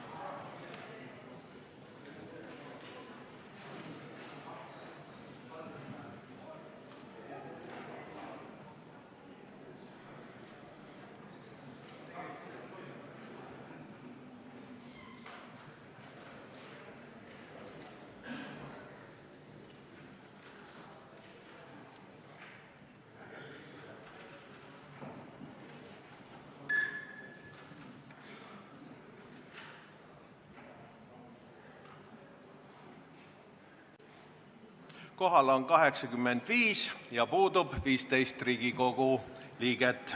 Kohaloleku kontroll Kohal on 86 ja puudub 15 Riigikogu liiget.